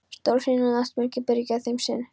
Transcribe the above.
Stórhríðin og náttmyrkrið byrgja þeim sýn.